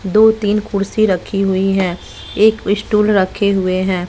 दो तीन कुर्सी रखी हुई है एक स्टूल रखे हुए हैं।